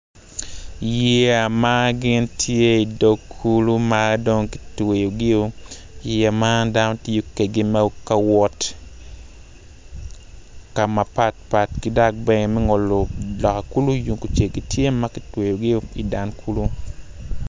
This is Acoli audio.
Man bongi ma kirukogi aruka i kom toi dok bongi man tye bongi gomci ki latere ma kitweyo i kome med ki koti ma kiruku ki kanyu kacel.